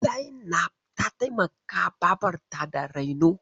Zainab ta taimaka babarta da raino.